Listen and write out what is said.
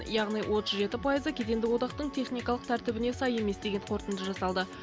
яғни отыз жеті пайызы кедендік одақтың техникалық тәртібіне сай емес деген қортынды жасалды